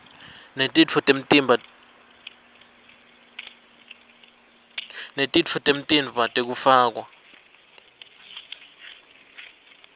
netitfo temtimba tekufakwa